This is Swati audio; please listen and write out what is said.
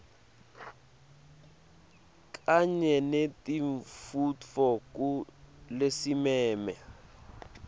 kanye nentfutfuko lesimeme